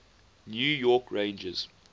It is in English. new york rangers